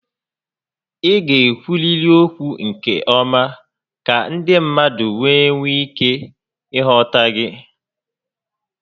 Ị ga ekwuriri okwu nke ọma ka ndị mmadụ wee nwee ike ị ghọta gị